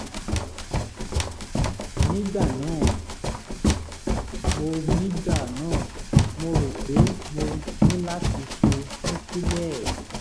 nígbà náà mo nígbà náà mo rò pé mo ní láti ṣe núkílẹ́ẹ̀